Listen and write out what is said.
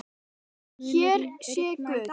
Hér sé guð!